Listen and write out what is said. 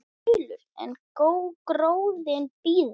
Þulur: En gróðinn býður?